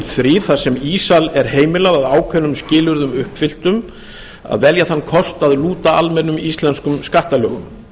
þar sem ísal er heimilað að ákveðnum skilyrðum uppfylltum að velja þann kost að lúta almennum íslenskum skattalögum